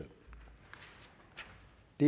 det